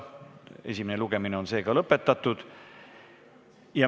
Esimene lugemine on lõpetatud.